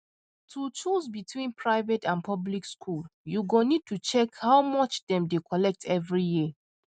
to choose between private and public school you go need to check how much dem dey collect every year